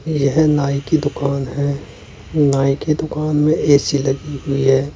यह नाई की दुकान है नाई की दुकान में ए_सी लगी हुई है।